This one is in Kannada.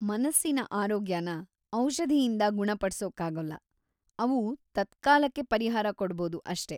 ಮನಸ್ಸಿನ ಆರೋಗ್ಯನ ಔಷಧಿಯಿಂದ ಗುಣಪಡ್ಸೋಕ್ಕಾಗೊಲ್ಲ, ಅವು ತತ್ಕಾಲಕ್ಕೆ ಪರಿಹಾರ ಕೊಡ್ಬೌದು ಅಷ್ಟೇ.